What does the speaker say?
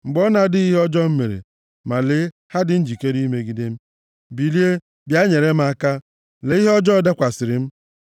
Mgbe ọ na-adịghị ihe ọjọọ m mere, ma lee ha dị njikere imegide m. Bilie, bịa nyere m aka; lee ihe ọjọọ dakwasịrị m!